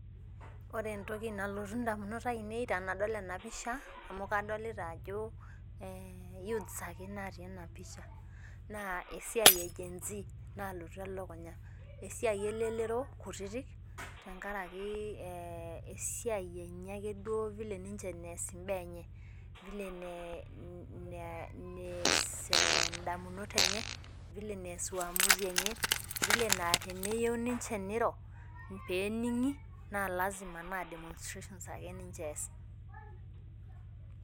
Ore entoki nalotu indamunot ainei tenadol enapisha, amu kadolita ajo youths ake natii enapisha. Naa esiai e Gen z nalotu elukunya. Esiai elelero kutitik, tenkaraki esiai enye ake duo vile ninche nees imbaa enye. Vile nees indamunot enye, vile nees uamuzi enye, vile naa teneyieu ninche niro pening'i, na lasima naa demonstrations ake ninche ees.